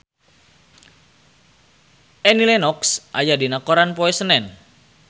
Annie Lenox aya dina koran poe Senen